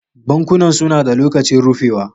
Bankunan suna da lokacin rufewa.